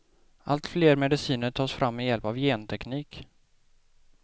Allt fler mediciner tas fram med hjälp av genteknik.